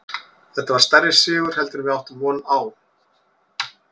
Þetta var stærri sigur heldur en við áttum von á.